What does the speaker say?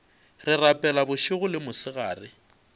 re rapela bošego le mosegare